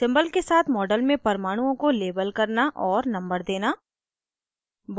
* symbol के साथ model में परमाणुओं को label करना और number देना